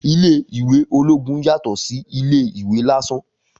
Ilé ìwé ológun yàtọ̀ sí ilé ìwé lásán